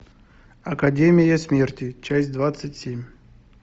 академия смерти часть двадцать семь